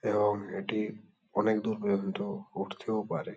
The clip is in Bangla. এবং এটি অনেক দূর পর্যন্ত উড়তেও পারে।